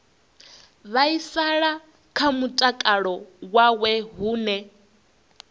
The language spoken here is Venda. vhaisala kha mutakalo wawe hune